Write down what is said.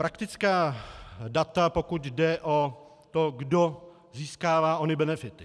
Praktická data, pokud jde o to, kdo získává ony benefity.